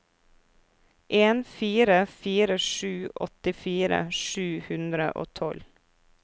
en fire fire sju åttifire sju hundre og tolv